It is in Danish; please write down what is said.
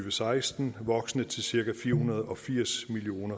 og seksten voksende til cirka fire hundrede og firs million